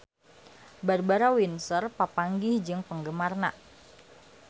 Barbara Windsor papanggih jeung penggemarna